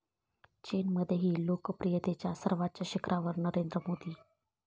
चीनमध्येही लोकप्रियतेच्या सर्वोच्च शिखरावर नरेंद्र मोदी